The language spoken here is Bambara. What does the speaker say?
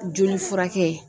Joli furakɛ.